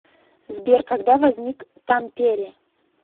сбер когда возник тампере